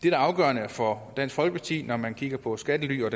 er afgørende for dansk folkeparti når man kigger på skattely og